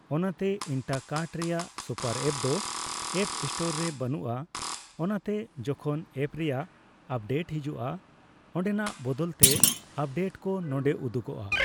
ᱚᱱᱟᱛᱮ ᱤᱱᱴᱟᱠᱟᱨᱴ ᱨᱮᱭᱟᱜ ᱥᱚᱯᱟᱨ ᱮᱯᱫᱚ ᱮᱯ ᱥᱴᱳᱨ ᱨᱮ ᱵᱟᱹᱱᱩᱜᱼᱟ, ᱚᱱᱟᱛᱮ ᱡᱚᱠᱷᱚᱱ ᱮᱯ ᱨᱮᱭᱟᱜ ᱟᱯᱰᱮᱴ ᱦᱮᱡᱩᱜᱼᱟ, ᱚᱸᱰᱮᱱᱟᱜ ᱵᱚᱫᱚᱞᱛᱮ ᱟᱯᱰᱮᱴᱠᱚ ᱱᱚᱸᱰᱮ ᱩᱫᱩᱜᱚᱜᱼᱟ ᱾